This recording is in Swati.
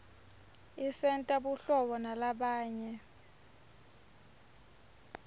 isentela buhlobo nalabanye